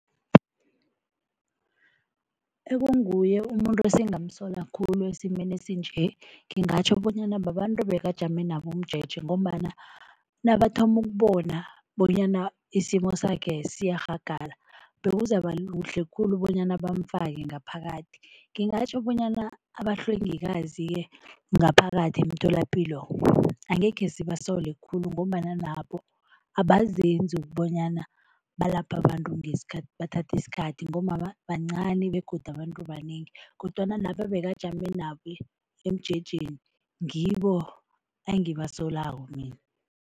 Ekunguye umuntu esingamsola khulu esimeni esinje ngingatjho bonyana babantu bekajame nabo umjeje ngombana nabathoma ukubona bonyana isimo sakhe siyarhagala, kuhle khulu bonyana bamfake ngaphakathi. Ngingatjho bonyana abahlwengikazi-ke ngaphakathi emtholapilo angekhe sibasole khulu ngombana nabo abazenzi ukubonyana balapha abantu ngesikhathi, bathatha isikhathi ngombana bancani begodu abantu banengi kodwana laba ebakajame nabo emjejeni ngibo engibasolako mina.